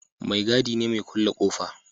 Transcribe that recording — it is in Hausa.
Mai gadi ne mai kulle ƙofa